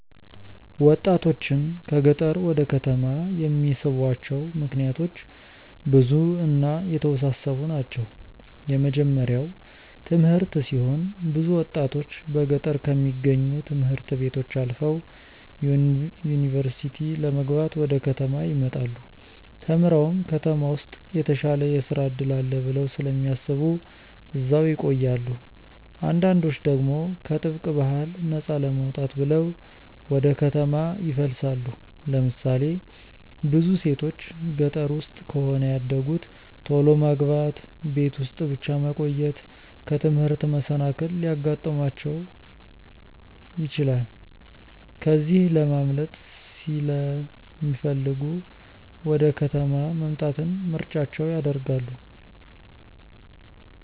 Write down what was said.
ወጣቶችን ከገጠር ወደ ከተማ የሚስቧቸው ምክንያቶች ብዙ እና የተወሳሰቡ ናቸው። የመጀመርያው ትምህርት ሲሆን ብዙ ወጣቶች በገጠር ከሚገኙ ት/ቤቶች አልፈው ዩኒቨርሲቲ ለመግባት ወደ ከተማ ይመጣሉ። ተምረውም ከተማ ውስጥ የተሻለ የስራ እድል አለ ብለው ስለሚያስቡ እዛው ይቆያሉ። አንዳንዶች ደግሞ ከጥብቅ ባህል ነፃ ለመውጣት ብለው ወደ ከተማ ይፈልሳሉ። ለምሳሌ ብዙ ሴቶች ገጠር ውስጥ ከሆነ ያደጉት ቶሎ ማግባት፣ ቤት ውስጥ ብቻ መቆየት፣ ከትምህርት መሰናከል ሊያጋጥማቸው ይችላል። ከዚህ ለማምለጥ ሲለሚፈልጉ ወደ ከተማ መምጣትን ምርጫቸው ያደርጋሉ።